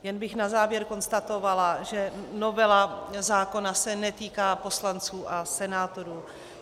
Jen bych na závěr konstatovala, že novela zákona se netýká poslanců a senátorů.